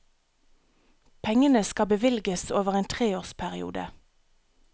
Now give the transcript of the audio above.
Pengene skal bevilges over en treårsperiode.